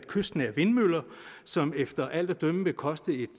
kystnære vindmøller som efter alt at dømme vil koste et